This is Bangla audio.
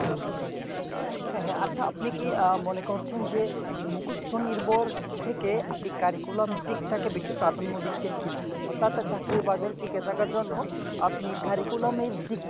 হ্যাঁ হ্যাঁ আছে উপনি কি মনে করছেন যে মুকস্ত নির্ভর থেকে আপনি curriculum দিকটাকে বেশি প্রাধান্য দিচ্ছেন কি না অর্থাৎ চাকরির বাজারে টিকেথাকার জন আপনি curriculum এর দিক